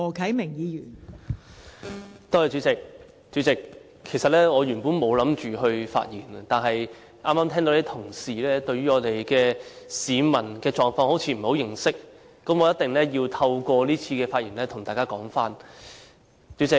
代理主席，原本我沒有打算發言，但剛才聽到同事對於市民的狀況好像不太認識，我一定要透過這次發言跟大家說一說。